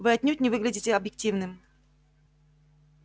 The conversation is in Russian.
вы отнюдь не выглядите объективным